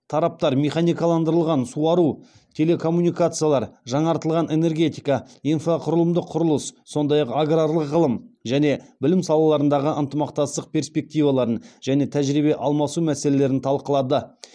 тараптар механикаландырылған суару телекоммуникациялар жаңартылған энергетика инфрақұрылымдық құрылыс сондай ақ аграрлық ғылым және білім салаларындағы ынтымақтастық перспективаларын және тәжірибе алмасу мәселелерін талқылады